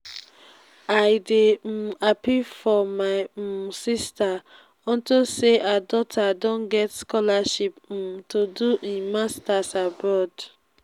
i dey um happy for my um sister unto say her daughter don get scholarship um to do im masters abroad